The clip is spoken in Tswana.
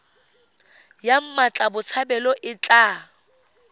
ya mmatla botshabelo e tla